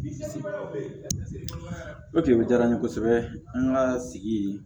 O tigi diyara n ye kosɛbɛ an ka sigi